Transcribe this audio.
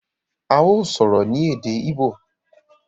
a yóò sọrọ ni Èdè Igbo.